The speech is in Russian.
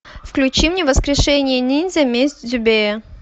включи мне воскрешение ниндзя месть дзюбея